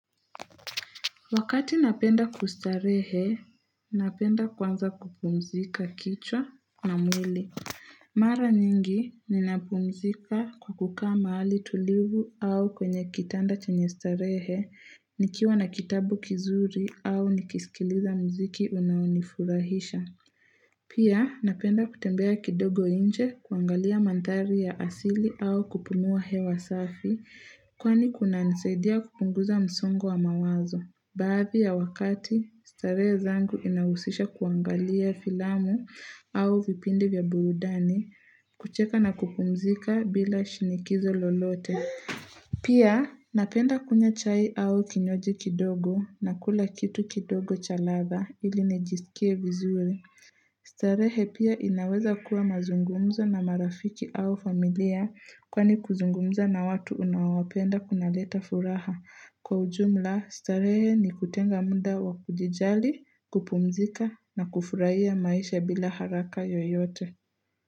Wakati napenda kustarehe, napenda kwanza kupumzika kichwa na mwili. Mara nyingi ninapumzika kwa kukaa mahali tulivu au kwenye kitanda chenye starehe nikiwa na kitabu kizuri au nikisikiliza mziki unaonifurahisha. Pia napenda kutembea kidogo nje kuangalia manthari ya asili au kupumua hewa safi kwani kunanisadia kupunguza msongo wa mawazo. Baadhi ya wakati, starehe zangu inahusisha kuangalia filamu au vipindi vya burudani, kucheka na kupumzika bila shinikizo lolote. Pia, napenda kunywa chai au kinywaji kidogo na kula kitu kidogo cha ladha ili nijiskie vizuri starehe pia inaweza kuwa mazungumzo na marafiki au familia kwani kuzungumza na watu unaowapenda kunaleta furaha. Kwa ujumla starehe ni kutenga muda wa kujijali, kupumzika na kufurahia maisha bila haraka yoyote.